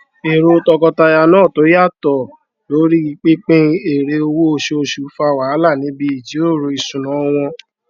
èrò tọkọtaya náà tó yàtọ lorí pínpín èrè owó oṣooṣù fá wàhálà níbí ìjíròrò ìṣúná wọn